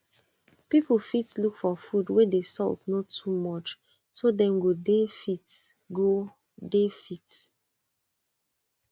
people fit look for food wey the salt no too much so dem go dey fit go dey fit